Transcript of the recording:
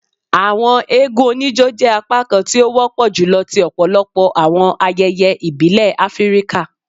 Awọn eégún onijó jẹ apakan ti o wọpọ julọ ti ọpọlọpọ awọn ayẹyẹ ibile Afirika.